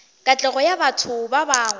katlego ya batho ba bangwe